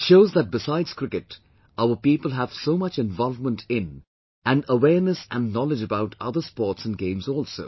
It shows that besides Cricket, our people have so much involvement in and awareness and knowledge about other sports and games also